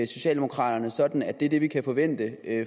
socialdemokraterne sådan at det er det vi kan forvente